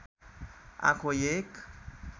आँखो एक